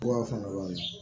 Fura fana